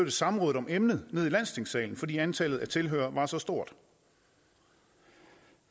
et samråd om emnet til landstingssalen fordi antallet af tilhørere var så stort